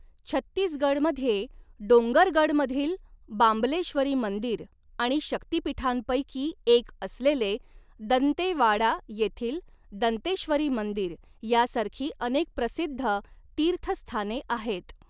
छत्तीसगडमध्ये डोंगरगडमधील बांबलेश्वरी मंदिर आणि शक्तीपीठांपैकी एक असलेले दंतेवाडा येथील दंतेश्वरी मंदिर, यासारखी अनेक प्रसिद्ध तीर्थस्थाने आहेत.